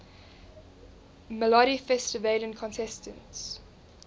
melodifestivalen contestants